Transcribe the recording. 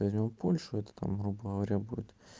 возьмём польшу это там грубо говоря будет